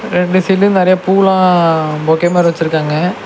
ரெண்டு சைடுலெயு நறைய பூலா பொக்கே மாரி வெச்சிருக்காங்க.